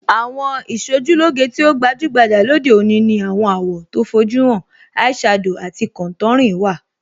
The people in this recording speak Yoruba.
Àwọn Ìṣojúlóge tí ó gbajúgbajà lóde òní ní àwọn àwọ̀ tó fojú hàn,ẹ ẹ̀ shadow àti contouring. wà.